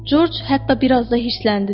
Corc hətta bir az da hirsləndi də.